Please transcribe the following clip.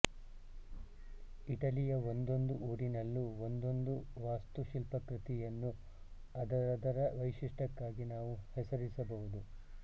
ಇಟಲಿಯ ಒಂದೊಂದು ಊರಿನಲ್ಲೂ ಒಂದೊಂದು ವಾಸ್ತುಶಿಲ್ಪಕೃತಿಯನ್ನು ಅದರದರ ವೈಶಿಷ್ಟ್ಯಕ್ಕಾಗಿ ನಾವು ಹೆಸರಿಸಬಹುದು